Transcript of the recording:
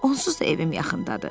Onsuz da evim yaxındadır.